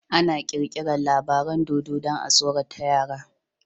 Ana kirkirar labaran dodo dan a tsorata yara